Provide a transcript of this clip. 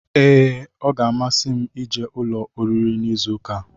Ee ọ gá-amasi m ije ụlọ oriri n'izu ụka a